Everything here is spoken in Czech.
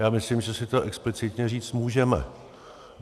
Já myslím, že si to explicitně říct můžeme.